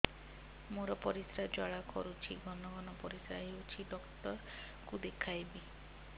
ମୋର ପରିଶ୍ରା ଜ୍ୱାଳା କରୁଛି ଘନ ଘନ ପରିଶ୍ରା ହେଉଛି ଡକ୍ଟର କୁ ଦେଖାଇବି